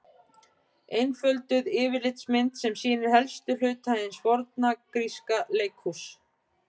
Einfölduð yfirlitsmynd sem sýnir helstu hluta hins forna gríska leikhúss.